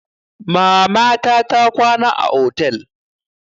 Mamata ta kwana a otel.